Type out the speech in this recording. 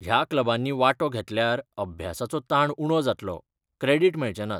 ह्या क्लबांनी वांटो घेतल्यार अभ्यासाचो ताण उणो जातलो, क्रॅडिट मेळचे नात.